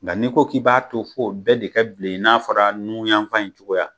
Nka n'i ko k'i b'a to f'o bɛɛ de ka bilen, i n'a fɔra nun yanfan in cogoya